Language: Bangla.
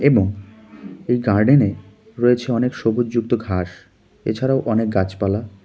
এবং এ গার্ডেনে রয়েছে অনেক সবুজ যুক্ত ঘাস এছাড়াও অনেক গাছপালা.